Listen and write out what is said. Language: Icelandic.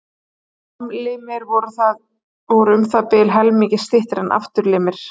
Framlimir voru um það bil helmingi styttri en afturlimir.